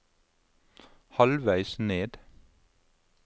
halvveis ned